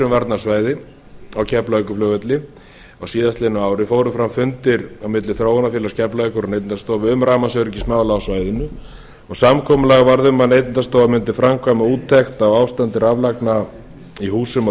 varnarsvæði á keflavíkurflugvelli á síðastliðnu ári fóru fram fundir milli þróunarfélags keflavíkur og neytendastofu um rafmagnsöryggismál á svæðinu og samkomulag varð um að neytendastofa mundi framkvæma úttekt á ástandi raflagna í húsum á